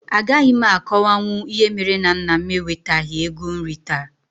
A gaghị m a kọwanwu ìhè méré na nnà m ewetaghi égo nri taa